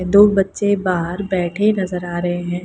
दो बच्चे बाहर बैठे नजर आ रहे हैं।